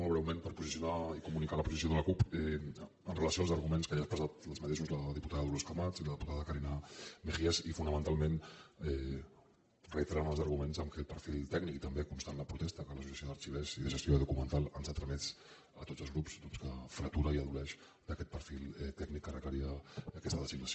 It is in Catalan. molt breument per posicionar i comunicar la posició de la cup amb relació als arguments que ja han expressat els mateixos la diputada dolors camats i la diputada carina mejías i fonamentalment reiterar els arguments d’aquest perfil tècnic i també constant la protesta que l’associació d’arxivers i de gestió documental ens ha tramès a tots els grups doncs que fretura i adoleix d’aquest perfil tècnic que requeria aquesta designació